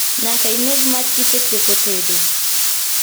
Nyaka ineg mach kisetieko tedo